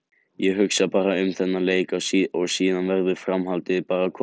Ég hugsa bara um þennan leik og síðan verður framhaldið bara að koma í ljós.